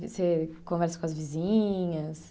Você conversa com as vizinhas?